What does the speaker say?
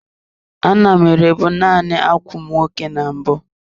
A na m ere bụ naanị ákwà ụmụ nwoke na mbụ.